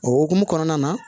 O hokumu kɔnɔna na